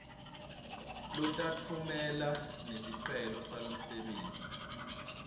lotawutfumela nesicelo salomsebenti